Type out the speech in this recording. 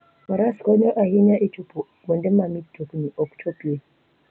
Faras konyo ahinya e chopo kuonde ma mtokni ok chopie.